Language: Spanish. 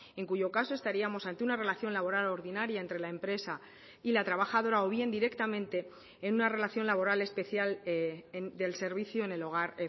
en cuyo caso estaríamos ante una relación laboral ordinaria entre la empresa y la trabajadora o bien directamente en una relación laboral especial del servicio en el hogar